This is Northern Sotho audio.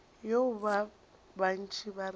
yeo ba bantši ba rego